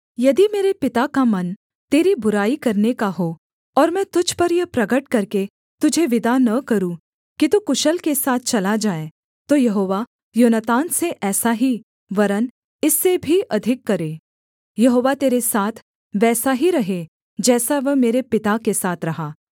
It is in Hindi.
यदि मेरे पिता का मन तेरी बुराई करने का हो और मैं तुझ पर यह प्रगट करके तुझे विदा न करूँ कि तू कुशल के साथ चला जाए तो यहोवा योनातान से ऐसा ही वरन् इससे भी अधिक करे यहोवा तेरे साथ वैसा ही रहे जैसा वह मेरे पिता के साथ रहा